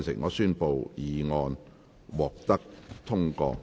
我宣布議案獲得通過。